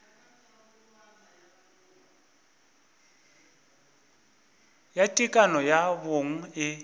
ya tekano ya bong e